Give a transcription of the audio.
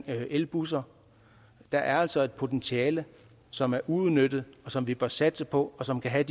elbusser der er altså et potentiale som er uudnyttet som vi bør satse på og som kan have